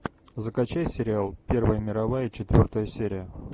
закачай сериал первая мировая четвертая серия